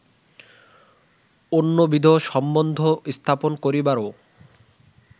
অন্যবিধ সম্বন্ধ স্থাপন করিবারও